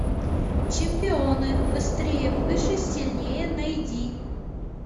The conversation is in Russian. чемпионы быстрее выше сильнее найди